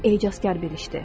Bu ecazkar bir işdir.